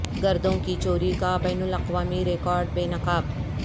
گردوں کی چوری کا بین الاقوامی ریاکٹ بے نقاب